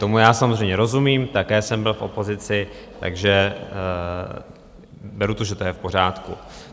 Tomu já samozřejmě rozumím, také jsem byl v opozici, takže beru to, že to je v pořádku.